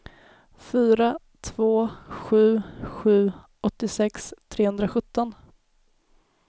fyra två sju sju åttiosex trehundrasjutton